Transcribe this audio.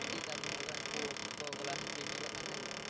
জি তারপরে মনে করেন coke, coca cola, speed এগুলা খান নাকি?